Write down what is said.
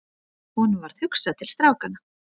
Honum varð hugsað til strákanna.